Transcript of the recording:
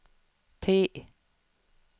T